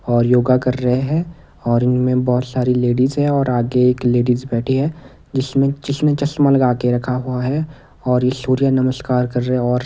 और योगा कर रहे हैं और इनमें बहुत सारी लेडीज हैं और आगे एक लेडीज बैठी है जिसमें जिसने चश्मा लगा के रखा हुआ है और ये सूर्य नमस्कार कर रहे हैं और --